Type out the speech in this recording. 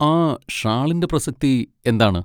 ആ ഷാളിന്റെ പ്രസക്തി എന്താണ്?